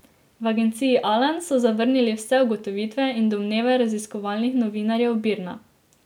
V agenciji Alan so zavrnili vse ugotovitve in domneve raziskovalnih novinarjev Birna.